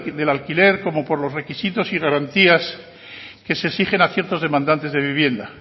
de alquiler como por los requisitos y garantías que se exigen a ciertos demandantes de vivienda